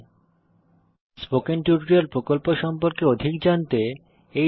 spoken tutorial প্রকল্প সম্পর্কে অধিক জানতেTo know more about the spoken tutorial project